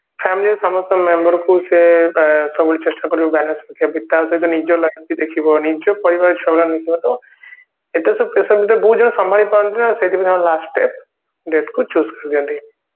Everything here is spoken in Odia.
families ର ସମସ୍ତଙ୍କ member ଙ୍କୁ ସେ ଅ ସବୁବେଳେ ଚେଷ୍ଟା କରିବ balance ରଖିବା ପାଇଁ କି ଟା ସହିତ ନିଜ life ବି ଦେଖିବ ନିଜ ପରିବାର ତ ଏତେ ସବୁ pressure ଭିତରେ ବହୁତ ଜଣ ସମ୍ଭାଳି ପାରନ୍ତିନି ନା ସେଇଟା ତାଙ୍କ last step death କୁ choose କରିବ ପାଇଁ